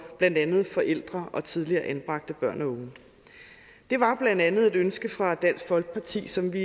blandt andet forældre og tidligere anbragte børn og unge det var blandt andet et ønske fra dansk folkeparti som vi